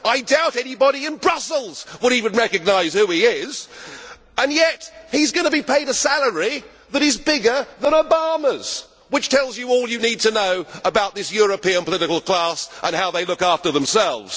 I doubt anybody in Brussels would even recognise who he is. And yet he is going to be paid a salary that is bigger than Obama's, which tells you all you need to know about this European political class and how they look after themselves.